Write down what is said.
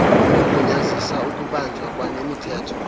ugunyazisa ukubanjwa kwanemithetho